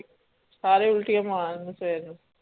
ਸਾਰੇ ਉਲਟੀਆਂ ਮਾਰਨ ਫੇਰ